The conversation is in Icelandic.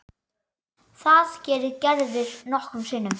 Það gerir Gerður nokkrum sinnum.